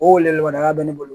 O weleweleda bɛ ne bolo